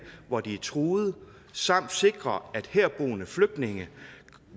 hvori de er truet samt sikrer at herboende flygtninge